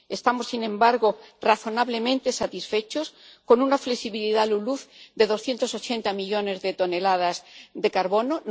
Estamos, sin embargo, razonablemente satisfechos con una flexibilidad LULUCF de 280 millones de toneladas de carbono.